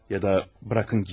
Ya da buraxın gedim.